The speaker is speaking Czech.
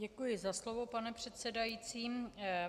Děkuji za slovo, pane předsedající.